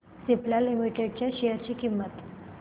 Cipla limited च्या share ची किंमत